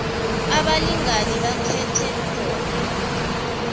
abalingani bakhethe khona